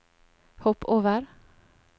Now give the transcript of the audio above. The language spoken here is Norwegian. hopp over